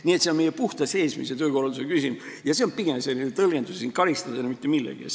Nii et see on puhtalt meie sisemise töökorralduse küsimus ja see on pigem tõlgenduslik asi, karistada ei ole mitte millegi eest.